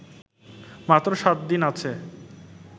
মাত্র সাত দিন আছে